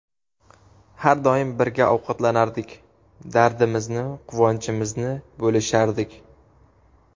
Har doim birga ovqatlanardik, dardimizni, quvonchimizni bo‘lishardik.